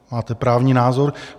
Máte právní názor?